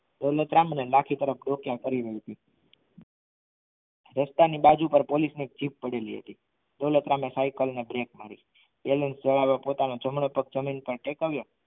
દોલતરામ અને લાખી રસ્તાની બાજુ પર એક પોલીસની જીપ પડાલી હતી દોલતરામ એ સાયકલને બ્રેક માર્યો જડવ્યો પોતાનો જમણો પગ જમીન પર ટેકવ્યો